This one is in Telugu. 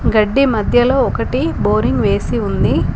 గడ్డి మధ్యలో ఒకటి బోరింగ్ వేసి ఉంది.